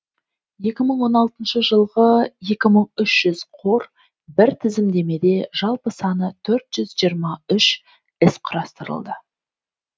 екі мың он алтыншы жылғы екі мың үш жүз қор бір тізімдемеде жалпы саны төрт жүз жиырма үш іс құрастырылды